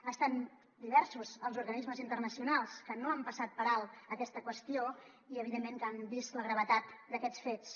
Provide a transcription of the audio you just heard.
han estat diversos els organismes internacionals que no han passat per alt aquesta qüestió i evidentment que han vist la gravetat d’aquests fets